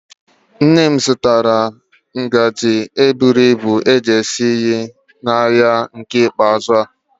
Nne zụtara ngaji isi nri buru ibu n'ahịa eke ikpeazụ.